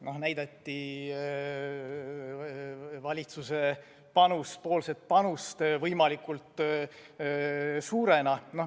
Nii näidati valitsus panust võimalikult suurena.